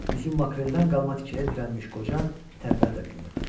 Üzümakreldən qalma tikəyə dirənmiş qoca tərpənmə də bilmirdi.